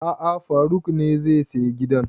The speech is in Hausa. A'a faruk ne zai saya gidan